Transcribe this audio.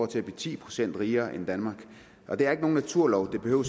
til at blive ti procent rigere end danmark og det er ikke nogen naturlov det behøver